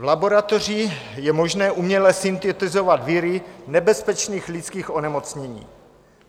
V laboratořích je možné uměle syntetizovat viry nebezpečných lidských onemocnění.